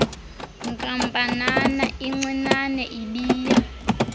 nkampanana incinane ibiya